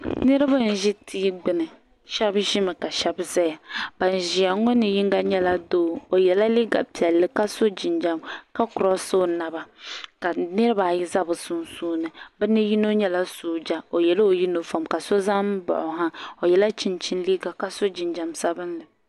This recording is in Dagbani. nirib n ʒɛ tigbani shɛbi ʒɛmi ka shɛba gbaya ban ʒɛya ŋɔ ni yiŋa nyɛla doo o yɛla liga piɛlli ka so jinjam ka ka kurosi o naba ka niribaayi za be sunsuuni be ni yino nyɛla soja o yɛla o yuniƒɔm la so za n baɣi o ha o yɛla chichini liga ka so ijnjam sabinli